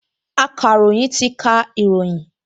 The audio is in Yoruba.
Akàròyìn ti ka ìròyìn